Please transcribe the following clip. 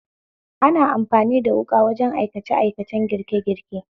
Ana amfani da wuƙa wajen aikace aikacen girke girke.